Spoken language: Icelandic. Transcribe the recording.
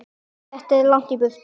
Þetta er langt í burtu.